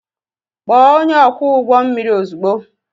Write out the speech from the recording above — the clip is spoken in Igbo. Kpọọ onye ọkwọ ụgbọ mmiri ozugbo!